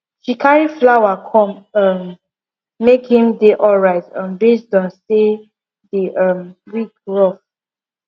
she carry flower come um make him dey alright um based on say the um week rough